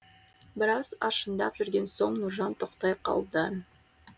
біраз аршындап жүрген соң нұржан тоқтай қалды